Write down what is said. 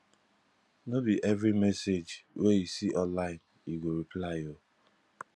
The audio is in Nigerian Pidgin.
no be every message wey you see online you go reply o